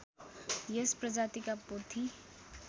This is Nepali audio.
यस प्रजातिका पोथी